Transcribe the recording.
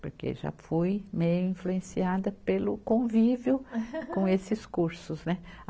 porque já fui meio influenciada pelo convívio com esses cursos, né.